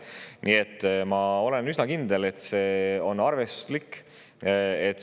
Nii et ma olen üsna kindel, et see on arvestuslik.